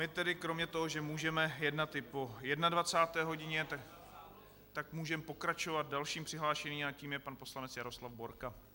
My tedy kromě toho, že můžeme jednat i po 21. hodině, tak můžeme pokračovat dalším přihlášeným a tím je pan poslanec Jaroslav Borka.